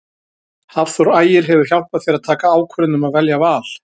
Hafþór Ægir hefur hjálpað þér að taka ákvörðun um að velja Val?